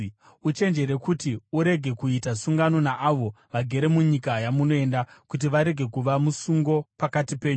Uchenjerere kuti urege kuita sungano naavo vagere munyika yamunoenda kuti varege kuva musungo pakati penyu.